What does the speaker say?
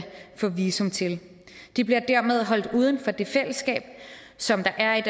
få visum til de bliver dermed holdt uden for det fællesskab som der er